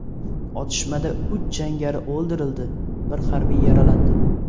Otishmada uch jangari o‘ldirildi, bir harbiy yaralandi.